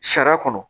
Sariya kɔnɔ